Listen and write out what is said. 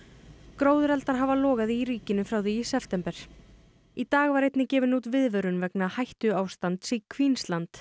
gróðureldar hafa logað í ríkinu frá því í september í dag var einnig gefin út viðvörun vegna hættuástands í